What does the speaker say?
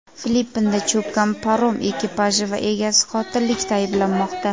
Filippinda cho‘kkan parom ekipaji va egasi qotillikda ayblanmoqda.